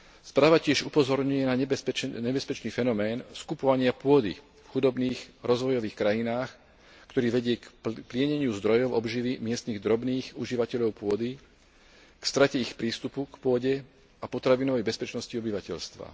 Správa tiež upozorňuje na nebezpečný fenomén skupovania pôdy v chudobných rozvojových krajinách, ktorý vedie k plieneniu zdrojov obživy miestnych drobných užívateľov pôdy, k strate ich prístupu k pôde a potravinovej bezpečnosti obyvateľstva.